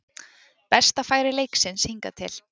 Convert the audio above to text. Besta færi leiksins hingað til